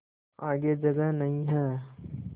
आगे जगह नहीं हैं